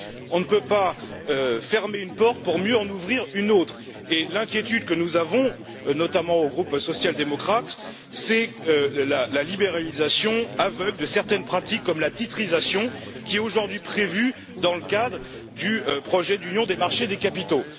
On ne peut pas fermer une porte pour mieux en ouvrir une autre, et l'inquiétude que nous avons, notamment au sein du groupe social démocrate, c'est la libéralisation aveugle de certaines pratiques comme la titrisation, qui est aujourd'hui prévue dans le cadre du projet d'union des marchés des capitaux.